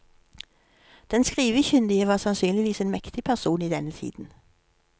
Den skrivekyndige var sannsynligvis en mektig person i denne tiden.